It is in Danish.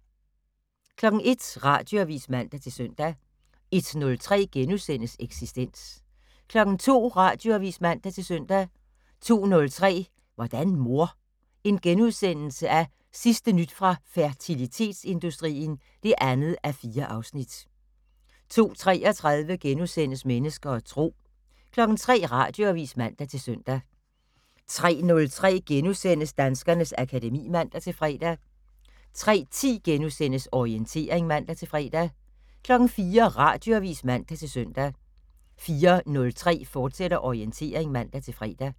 01:00: Radioavis (man-søn) 01:03: Eksistens * 02:00: Radioavis (man-søn) 02:03: Hvordan mor? Sidste nyt fra fertilitetsindustrien (2:4)* 02:33: Mennesker og Tro * 03:00: Radioavis (man-søn) 03:03: Danskernes akademi *(man-fre) 03:10: Orientering *(man-fre) 04:00: Radioavis (man-søn) 04:03: Orientering, fortsat (man-fre)